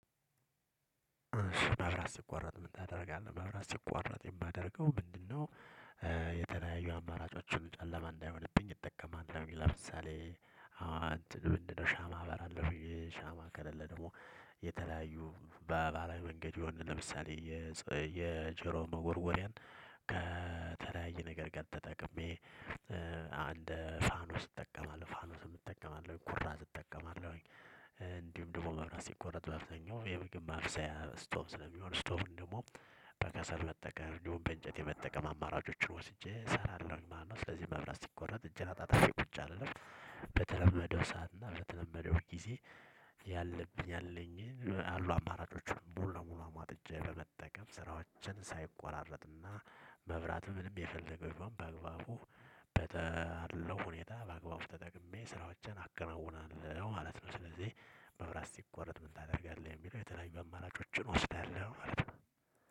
መብራት ሲቋረጥ ምን ታደርጋለህ መብራት ስቋረጥ የማደርገው ምንድነው? የተናዩ አማራጮችን ጨለማ እንዳይሆንብኝ እጠቀማለሁ። ለምሳሌ እትን ምድን ነው ሻማ አበራለሁኝ። ሻማ ከለለ ደግሞ የተለያዩ በባህላዊ መንገድ የሆነ ለምሳሌ የጀሮ መጎርጎሪያን ከተለያየ ነገር ጋር ተጠቅሜ። አንደ ፋኖስ እጠቀማለሁ ፋኖስ እጠቀማለሁ ኩራዝ እጠቀማለሁኝ። እንዲሁም ደግሞ መብራት ሲቆረጥ በአብዛኛው የምግብ ማብሰያ ስቶቭ ስለሚሆን ስቶቭን ደሞ በከሰል መጠቀም እንዲሁም በእንጨት የመጠቀም አማራጮችን ወስጄ እሰራለሁ ማለት ነው። ስለዚህ መብላት ሲቆረጥ እጄን አጣጣሚ ቁጭ አልልም። በተለመደው ሰዓት እና በተለመደው ጊዜ ያለብኝ አለኝ አሉ አማራጮችን ሙሉ ለሙሉ አሟጥጬ በመጠቀም ስራዎችን ሳይቆራረጡ እና መብራትም ምንም የፈለገውን በአግባቡ በተለው ሁኔታ በአግባቡ ተጠቅሜ ስራዎችን አከናውናለሁ ማለት ነው። ስለዚህ መብራት ሲቆረጥ ምን ታደርጋለህ? ለሚለው የተለያዩ አማራጮችን ወስዳለሁ ማለት ነው።